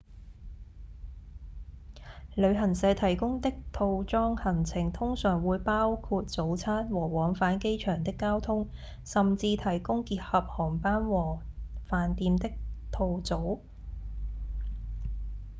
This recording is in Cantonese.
旅行社提供的套裝行程通常會包括早餐和往返機場的交通甚至提供結合航班和飯店的套組